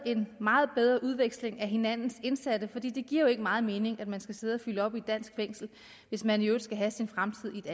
en meget bedre udveksling af hinandens indsatte for det giver jo ikke meget mening at man skal sidde og fylde op i et dansk fængsel hvis man i øvrigt skal have sin fremtid